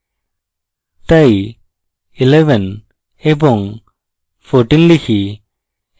তাই 11 এবং 14 লিখি